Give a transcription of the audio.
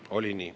Oli nii.